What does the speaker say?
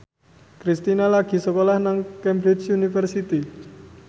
Kristina lagi sekolah nang Cambridge University